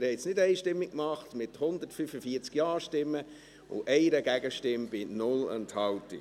Sie haben es nicht einstimmig gemacht, sondern mit 145 Ja-Stimmen zu 1 Gegenstimme bei 0 Enthaltung.